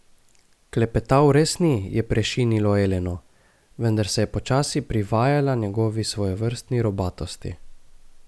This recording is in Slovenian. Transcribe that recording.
Klepetav res ni, je prešinilo Eleno, vendar se je počasi privajala njegovi svojevrstni robatosti.